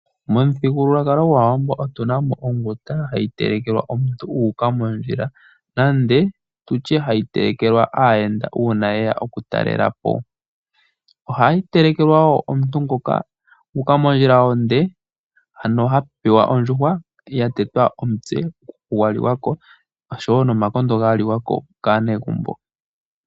Momuthigululwakalo gwAawambo otunamo onguta hayi telekelwa omuntu , uuka mondjila nande tutye hayi telekelwa aayenda uuna yeya oku talelapo. Ohayi telekelwa woo omuntu ngoka uuka mondjila onde, hano hapewa oondjuhwa yatetwa omutse gwaliwa ko oshowo uukaha wa liwako kaanegumbo.